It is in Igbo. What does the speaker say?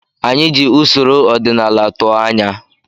Anyị na-eji usoro ọdịnala tụọ anya.